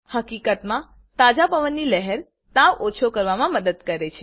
હકીકતમાં તાજા પવનની લહેર તાવ ઓછો કરવામાં મદદ કરે